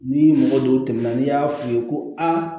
Ni mɔgɔ dɔw tɛmɛna n'i y'a f'u ye ko a